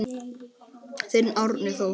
Þinn Árni Þór.